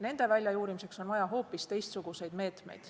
Nende väljajuurimiseks on vaja hoopis teistsuguseid meetmeid.